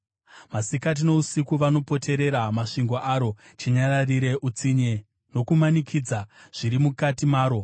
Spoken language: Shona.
Masikati nousiku vanopoterera masvingo aro chinyararire; utsinye nokumanikidza zviri mukati maro.